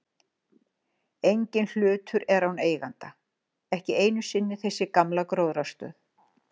Enginn hlutur er án eiganda, ekki einu sinni þessi gamla gróðrarstöð.